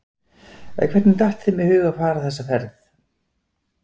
En hvernig datt þeim í hug að fara þessa ferð?